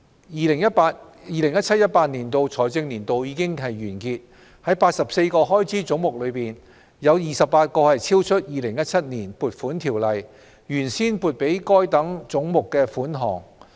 " 2017-2018 財政年度已經完結，在84個開支總目中，有28個超出《2017年撥款條例》原先撥給該等總目的款項。